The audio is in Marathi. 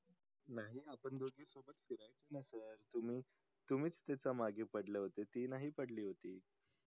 तुम्ही तुमीच तिच्या मागे पडले होते ती नाही पडली होती